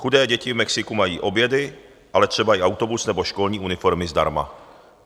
Chudé děti v Mexiku mají obědy, ale třeba i autobus nebo školní uniformy zdarma.